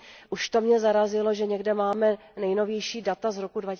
Už to mě zarazilo, že někde máme nejnovější data z roku